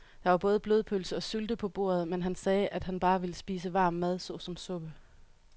Der var både blodpølse og sylte på bordet, men han sagde, at han bare ville spise varm mad såsom suppe.